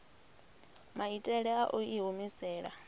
maitele a u i humisela